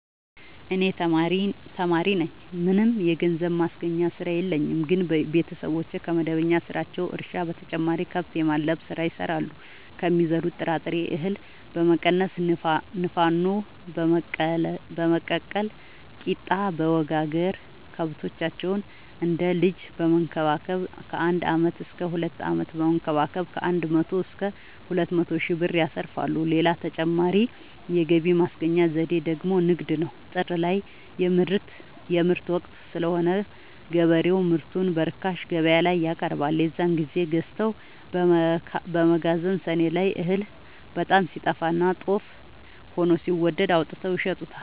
እኔ ተማሪነኝ ምንም የገንዘብ ማስገኛ ስራ የለኝም ግን ቤተሰቦቼ ከመደበኛ ስራቸው እርሻ በተጨማሪ ከብት የማድለብ ስራ ይሰራሉ ከሚዘሩት ጥራጥሬ እሀል በመቀነስ ንፋኖ በመቀቀል ቂጣበወጋገር ከብቶቻቸውን እንደ ልጅ በመከባከብ ከአንድ አመት እስከ ሁለት አመት በመንከባከብ ከአንድ መቶ እስከ ሁለት መቶ ሺ ብር ትርፍ ያገኛሉ። ሌላ ተጨማሪ የገቢ ማስገኛ ዘዴ ደግሞ ንግድ ነው። ጥር ላይ የምርት ወቅት ስለሆነ ገበሬው ምርቱን በርካሽ ገበያላይ ያቀርባል። የዛን ግዜ ገዝተው በመከዘን ሰኔ ላይ እህል በጣም ሲጠፋና ጦፍ ሆኖ ሲወደድ አውጥተው ይሸጡታል።